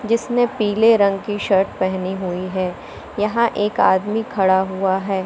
जिसने पीले रंग की शर्ट पहनी हुई है यहां एक आदमी खड़ा हुआ है।